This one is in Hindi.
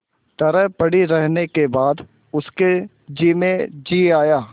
तरह पड़ी रहने के बाद उसके जी में जी आया